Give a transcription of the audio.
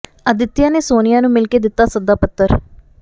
ਆਦਿਤਿਆ ਨੇ ਸੋਨੀਆ ਨੂੰ ਮਿਲ ਕੇ ਦਿੱਤਾ ਸੱਦਾ ਪੱਤਰ